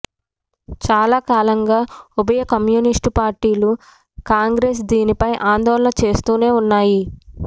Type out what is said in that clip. చాలా కాలంగా ఉభయ కమ్యూనిస్టుపార్టీలు కాంగ్రెస్ దీనిపై ఆందోళన చేస్తూనే వున్నాయి